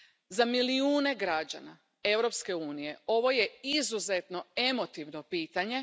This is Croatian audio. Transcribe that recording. Za milijune građana Europske unije ovo je izuzetno emotivno pitanje.